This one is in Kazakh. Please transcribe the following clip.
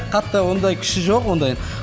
қатты ондай күші жоқ ондай